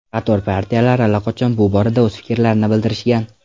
Qator partiyalar allaqachon bu borada o‘z fikrlarini bildirishgan.